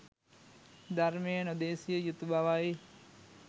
ධර්මය නොදෙසිය යුතු බවයි.